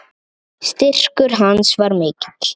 Styrkur hans var mikill.